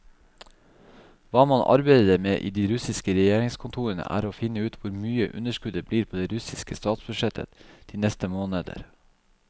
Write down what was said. Hva man arbeider med i de russiske regjeringskontorene, er å finne ut hvor mye underskuddet blir på det russiske statsbudsjettet de neste måneder.